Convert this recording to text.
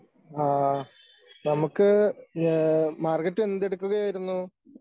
ആ നമുക്ക് ഏഹ് മാർഗരറ്റ് എന്തെടുക്കുകയായിരുന്നു?